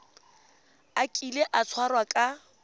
a kile a tshwarwa ka